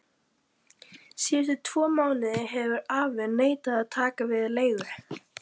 Síðustu tvo mánuði hefur afi neitað að taka við leigu.